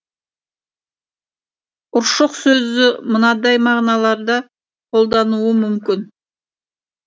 ұршық сөзі мынадай мағыналарда қолданылуы мүмкін